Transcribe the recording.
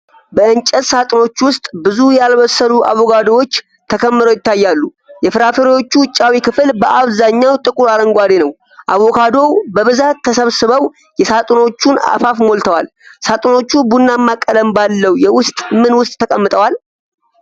በእንጨት ሳጥኖች ውስጥ ብዙ ያልበሰሉ አቮካዶዎች ተከምረው ይታያሉ። የፍራፍሬዎቹ ውጫዊ ክፍል በአብዛኛው ጥቁር አረንጓዴ ነው። አቮካዶዎቹ በብዛት ተሰብስበው የሳጥኖቹን አፋፍ ሞልተዋል። ሳጥኖቹ ቡናማ ቀለም ባለው የውስጥ ምን ውስጥ ተቀምጠዋል?